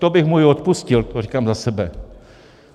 To bych mu i odpustil, to říkám za sebe.